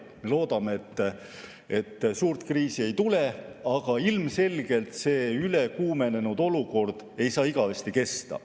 Me loodame, et suurt kriisi ei tule, aga ilmselgelt ei saa see ülekuumenenud olukord igavesti kesta.